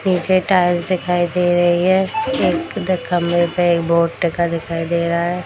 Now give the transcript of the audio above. पीछे टाइल्स दिखाई दे रही है एक द खम्भे पे एक बोर्ड टांगा दिखाई दे रहा है।